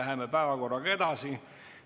Me läheme päevakorraga edasi.